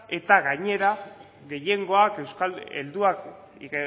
eta gainera gehiengoak euskal helduak